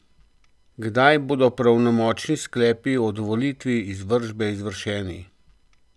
Kdaj bodo pravnomočni sklepi o dovolitvi izvršbe izvršeni?